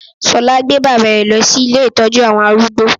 Ṣọlá gbé bàbá ẹ̀ lọ sí ilé ìtọ́jú àwọn arúgbó